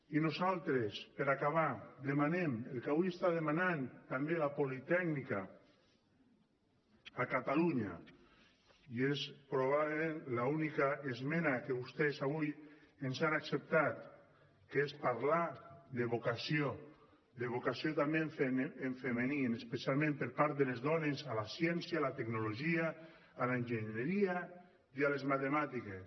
i nosaltres per acabar demanem el que avui està demanant també la politècnica a catalunya i és probablement l’única esmena que vostès avui ens han acceptat que és parlar de vocació de vocació també en femení especialment per part de les dones a la ciència a la tecnologia a l’enginyeria i a les matemàtiques